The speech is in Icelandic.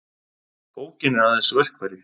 Bókin er aðeins verkfæri.